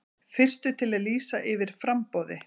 Fyrstur til að lýsa yfir framboði